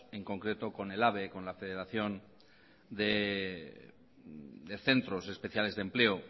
en concreto con ehlabe con la federación de centros especiales de empleo